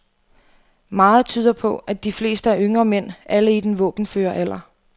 Meget tyder på, at de fleste er yngre mænd, alle i den våbenføre alder.